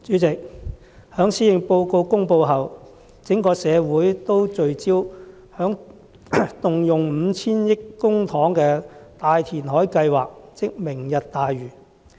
主席，在施政報告公布後，整個社會都聚焦在動用 5,000 億元公帑進行的大填海計劃，即"明日大嶼"計劃。